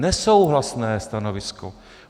Nesouhlasné stanovisko.